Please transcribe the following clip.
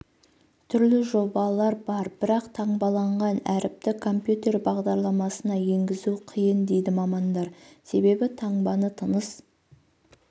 түрлі жобалар бар бірақ таңбаланған әріпті компьютер бағдарламасына енгізу қиын дейді мамандар себебі таңбаны тыныс